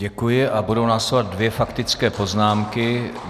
Děkuji a budou následovat dvě faktické poznámky.